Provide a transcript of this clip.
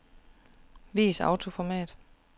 Vis autoformat.